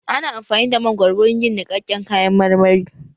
Ana amfani da mangoro wurin yin niƙaken kayan marmari